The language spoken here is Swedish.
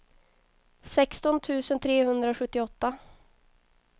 sexton tusen trehundrasjuttioåtta